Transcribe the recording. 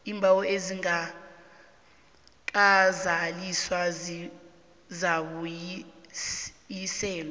iimbawo ezingakazaliswa zizakubuyiselwa